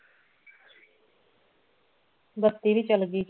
ਬੱਤੀ ਵੀ ਚੱਲ ਗਈ ਜੋ